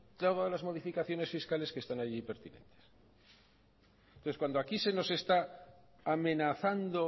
todas las modificaciones fiscales que están allí pertinentes entonces cuando aquí se nos está amenazando